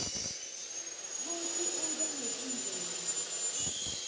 kutsi kube netindlela